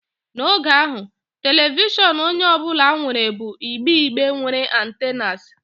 N'oge ahụ, telivishọn onye ọ bụla nwere bụ igbe igbe nwere antennas.